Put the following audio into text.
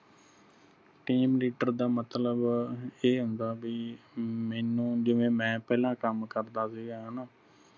team leader ਦਾ ਮਤਲਬ ਇਹ ਹੁੰਦਾ ਬਾਈ ਮੈਨੂੰ ਜਿਵੇ ਮੈਂ ਪਹਿਲਾ ਕੰਮ ਕਰਦਾ ਸੀਗਾ ਹਣਾ।